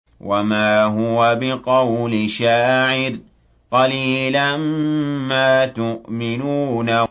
وَمَا هُوَ بِقَوْلِ شَاعِرٍ ۚ قَلِيلًا مَّا تُؤْمِنُونَ